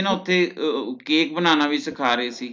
ਓਥੇ Cake ਬਨਾਨਾ ਵੀ ਸਿੱਖਾਂ ਰਹੇ ਸੀ